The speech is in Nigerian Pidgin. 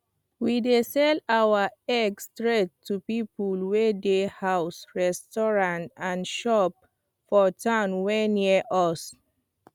we dey sell our egg straight to people wey dey house restaurants and shop for town wey near us